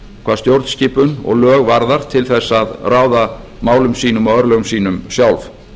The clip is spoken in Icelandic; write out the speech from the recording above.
hvað stjórnskipun og lög varðar til að ráða málum sínum og örlögum sínum sjálf